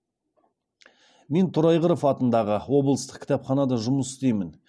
мен торайғыров атындағы облыстық кітапханада жұмыс істеймін